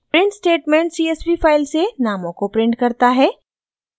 print statement csv file से नामों को प्रिंट करता है